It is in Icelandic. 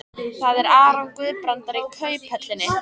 Það er Aron Guðbrandsson í Kauphöllinni.